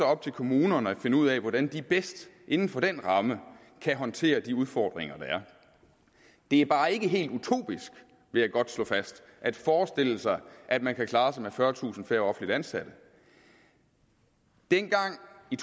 op til kommunerne at finde ud af hvordan de bedst inden for denne ramme kan håndtere de udfordringer der er det er bare ikke helt utopisk vil jeg godt slå fast at forestille sig at man kan klare sig med fyrretusind færre offentligt ansatte dengang i